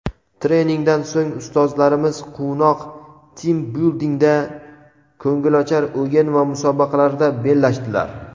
Treningdan so‘ng ustozlarimiz quvnoq 'Teambuilding‘da ko‘ngilochar o‘yin va musobaqalarda bellashdilar.